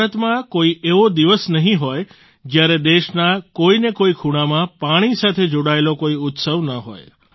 ભારતમાં કોઈ એવો દિવસ નહીં હોય જ્યારે દેશના કોઈને કોઈ ખૂણામાં પાણી સાથે જોડાયેલો કોઈ ઉત્સવ ન હોય